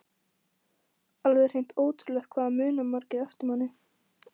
Alveg hreint ótrúlegt hvað það muna margir eftir manni!